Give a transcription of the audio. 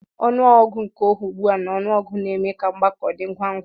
Ọnụ ọgụgụ nke oge ughu a na ọnụọgụ na-eme ka mgbako dị ngwa ngwa.